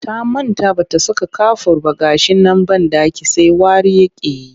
Ta manta ba ta saka kafur ba ga shi nan banɗakin sai wari yake yi